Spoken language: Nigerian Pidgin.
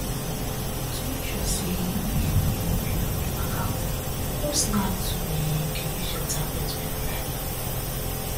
to make sure say um your period waka well no slack to um dey use your tablet regualrly